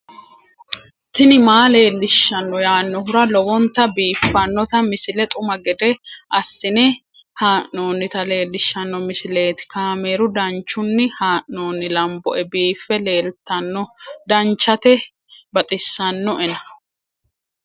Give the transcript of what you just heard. tini maa leelishshanno yaannohura lowonta biiffanota misile xuma gede assine haa'noonnita leellishshanno misileeti kaameru danchunni haa'noonni lamboe biiffe leeeltanno danchate baxissinoena